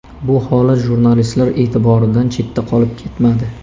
Bu holat jurnalistlar e’tiboridan chetda qolib ketmadi.